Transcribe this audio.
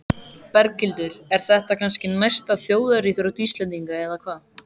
Berghildur, er þetta kannski næsta þjóðaríþrótt Íslendinga eða hvað?